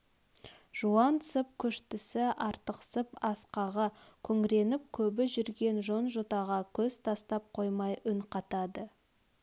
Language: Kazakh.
жуансып күштісі артықсып асқағы күңіреніп көбі жүрген жон-жотаға көз тастап қоймай үн қатады